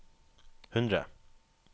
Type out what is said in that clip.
hundre